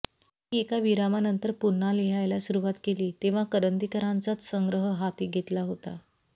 मी एका विरामानंतर पुन्हा लिहायला सुरुवात केली तेव्हा करंदीकरांचाच संग्रह हाती घेतला होता